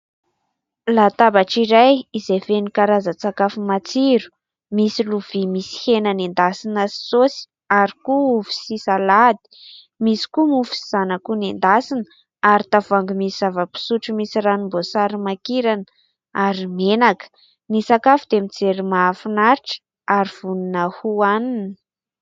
Latabatra iray izay feno karazan-tsakafo matsiro. Misy lovia misy hena nendasina sy saosy ary koa ovy sy salady. Misy koa mofo sy izany akoho nendasina ary tavoahangy misy zava-pisotro misy ranom-boasary makirana ary menaka. Ny sakafo dia mijery mahafinaritra ary vonona hohanina.